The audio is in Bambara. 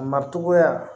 Matogoya